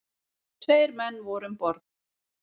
Tveir menn voru um borð.